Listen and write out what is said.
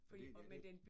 Fordi ja den